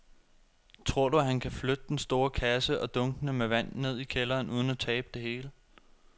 Tror du, at han kan flytte den store kasse og dunkene med vand ned i kælderen uden at tabe det hele?